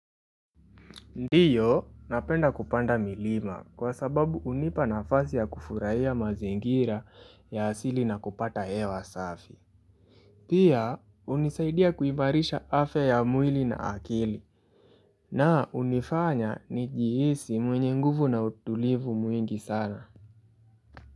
Ndiyo, napenda kupanda milima kwa sababu hunipa nafasi ya kufurahia mazingira ya asili na kupata hewa safi. Pia, hunisaidia kuimarisha afya ya mwili na akili na hunifanya nijihisi mwenye nguvu na utulivu mwingi sana.